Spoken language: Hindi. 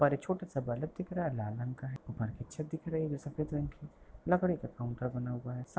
बाहर एक छोटा सा बल्ब दिख रहा है लाल रंग का है ऊपर की छत दिख रही है जो सफ़ेद रंग की है लकड़ी का काउंटर बना हुआ है सा --